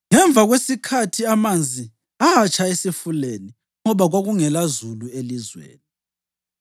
Ngemva kwesikhathi amanzi atsha esifuleni ngoba kwakungelazulu elizweni.